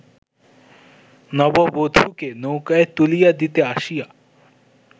নববধূকে নৌকায় তুলিয়া দিতে আসিয়া